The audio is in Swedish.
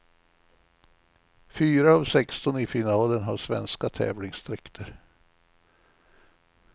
Fyra av sexton i finalen har svenska tävlingsdräkter.